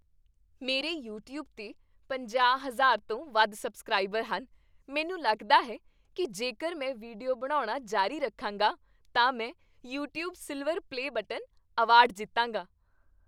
ਮੇਰੇ ਯੂਟਿਊਬ 'ਤੇ ਪੰਜਾਹ, ਹਜ਼ਾਰ ਤੋਂ ਵੱਧ ਸਬਸਕ੍ਰਾਈਬਰ ਹਨ ਮੈਨੂੰ ਲੱਗਦਾ ਹੈ ਕੀ ਜੇਕਰ ਮੈਂ ਵੀਡੀਓ ਬਣਾਉਣਾ ਜਾਰੀ ਰੱਖਾਂਗਾ, ਤਾਂ ਮੈਂ "YouTube silver play button" award ਜਿੱਤਾਂਗਾ